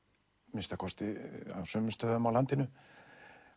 að minnsta kosti á sumum stöðum á landinu